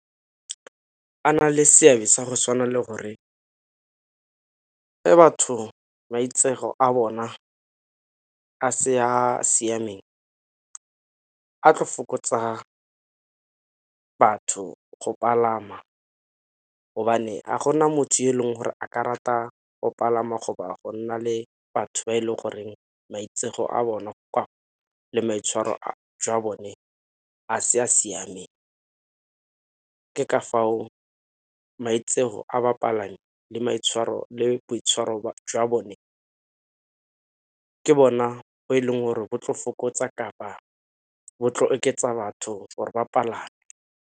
A na le seabe sa go tshwana le gore ga batho maitseo a bona a se ya siameng a tlo fokotsa batho go palama, gobane ga gona motho yo e leng gore a karata go palama go ba go nna le batho ba e leng goreng maitseo a bona go le maitshwaro a jwa bone a se a siameng. Ke ka fao maitseo a bapalami le boitshwaro jwa bone ka bona bo e leng gore bo tlo fokotsa kapa bo tlo oketsa batho gore ba palame.